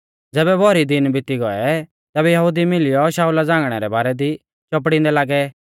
ज़ैबै भौरी दिन बिती गौऐ तैबै यहुदी मिलियौ शाऊला झ़ांगणै रै बारै दी चौपड़ींदै लागै